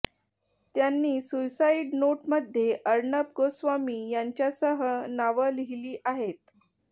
त्यांनी सुसाईड नोटमध्ये अर्णब गोस्वामी यांच्यासह नावं लिहिली आहेत